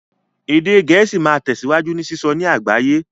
Èdè Gẹ̀ẹ́sì máa tẹ̀síwájú ní sísọ ní àgbáyé